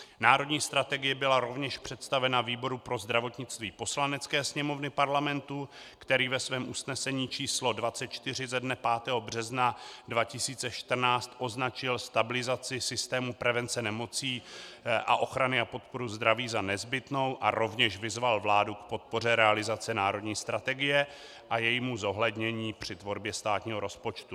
Národní strategie byla rovněž představena výboru pro zdravotnictví Poslanecké sněmovny Parlamentu, který ve svém usnesení číslo 24 ze dne 5. března 2014 označil stabilizaci systému prevence nemocí a ochrany a podpory zdraví za nezbytnou a rovněž vyzval vládu k podpoře realizace národní strategie a jejímu zohlednění při tvorbě státního rozpočtu.